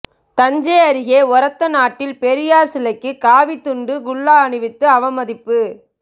தஞ்சை அருகே ஒரத்தநாட்டில் பெரியார் சிலைக்கு காவி துண்டு குல்லா அணிவித்து அவமதிப்பு